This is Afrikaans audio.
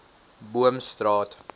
boomstraat